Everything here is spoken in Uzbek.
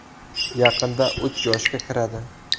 Yaqinda uch yoshga kiradi.